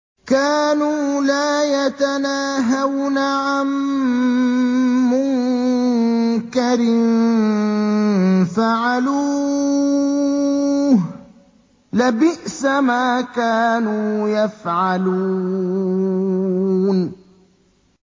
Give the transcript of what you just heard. كَانُوا لَا يَتَنَاهَوْنَ عَن مُّنكَرٍ فَعَلُوهُ ۚ لَبِئْسَ مَا كَانُوا يَفْعَلُونَ